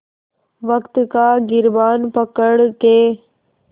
वक़्त का गिरबान पकड़ के